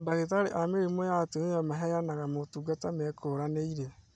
Mandagĩtarĩ a mĩrimũ ya atumia maheanaga motungata mekũranĩire